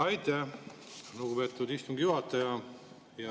Aitäh, lugupeetud istungi juhataja!